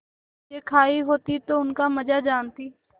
चीजें खायी होती तो उनका मजा जानतीं